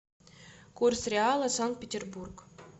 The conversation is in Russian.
курс реала санкт петербург